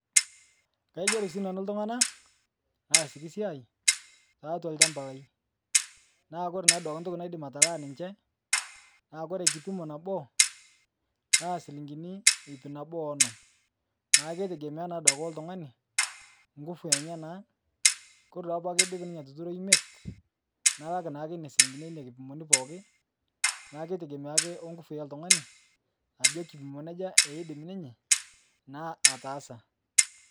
Kagero sii nanu ltung'ana laasiki siai taatwa lchamba lai, naa kore naa duake ntoki naidim atalaa ninche, naa kore kipimo nabo na silinkini hip nabo onom, naa keitegemea naa duake oltung'ani nkufu enyanaa, kore naa duake paa kodup ninye atuturo imet nalak naake ina silinkini eina kipimoni pookin naa ketegemea ake onkufu eltung'ani ajo kipimoni aja eidim ninye naa ataasa.